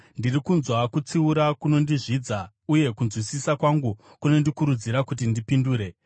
Ndiri kunzwa kutsiura kunondizvidza, uye kunzwisisa kwangu kunondikurudzira kuti ndipindure.